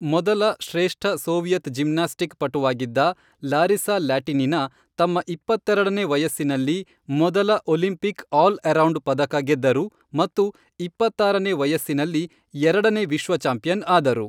ಮೊದಲ ಶ್ರೇಷ್ಠ Soviet gymnastic ಪಟುವಾಗಿದ್ದ ಲಾರಿಸಾ ಲ್ಯಾಟಿನಿನಾ ತಮ್ಮ ಇಪ್ಪತ್ತೆರಡನೇ ವಯಸ್ಸಿನಲ್ಲಿ ಮೊದಲ ಒಲಿಂಪಿಕ್ ಆಲ್ ಅರೌಂಡ್ ಪದಕ ಗೆದ್ದರು ಮತ್ತು ಇಪ್ಪತ್ತಾರನೇ ವಯಸ್ಸಿನಲ್ಲಿ ಎರಡನೇ ವಿಶ್ವ ಚಾಂಪಿಯನ್ ಆದರು.